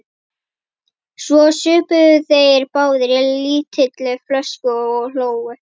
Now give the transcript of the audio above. Svo supu þeir báðir á lítilli flösku og hlógu.